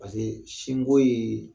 sinko ye